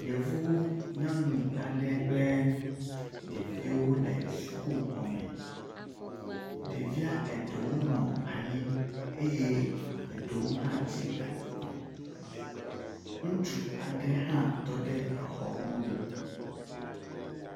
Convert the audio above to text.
yevu nyanu aɖe kple ɖeviwo wóle sukuxɔme ɖevia eɖewo nɔ anyieye eɖewo hã tsi atsitre ŋutsu aɖe hã tɔɖe exɔ mɔnu